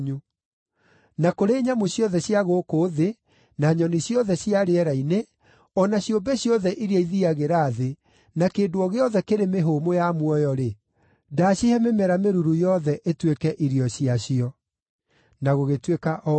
Na kũrĩ nyamũ ciothe cia gũkũ thĩ, na nyoni ciothe cia rĩera-inĩ, o na ciũmbe ciothe iria ithiiagĩra thĩ, na kĩndũ o gĩothe kĩrĩ mĩhũmũ ya muoyo-rĩ, ndaacihe mĩmera mĩruru yothe ĩtuĩke irio ciacio.” Na gũgĩtuĩka o ũguo.